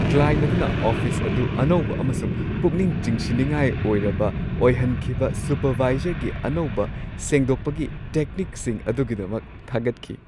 Client ꯑꯗꯨꯅ office ꯑꯗꯨ ꯑꯅꯧꯕ ꯑꯃꯁꯨꯡ ꯄꯨꯛꯅꯤꯡ ꯆꯤꯡꯁꯤꯟꯅꯤꯡꯉꯥꯏ ꯑꯣꯏꯔꯕ ꯑꯣꯏꯍꯟꯈꯤꯕ ꯁꯨꯄꯔꯚꯥꯏꯖꯔꯒꯤ ꯑꯅꯧꯕ ꯁꯦꯡꯗꯣꯛꯄꯒꯤ ꯇꯦꯛꯅꯤꯛꯁꯤꯡ ꯑꯗꯨꯒꯤꯗꯃꯛ ꯊꯥꯒꯠꯈꯤ ꯫